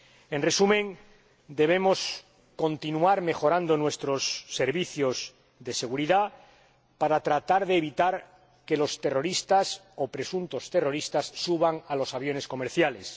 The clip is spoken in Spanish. En resumen, debemos continuar mejorando nuestros servicios de seguridad para tratar de evitar que los terroristas o presuntos terroristas suban a los aviones comerciales.